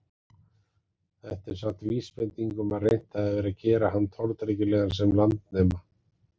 Þetta er samt vísbending um að reynt hafi verið að gera hann tortryggilegan sem landnema.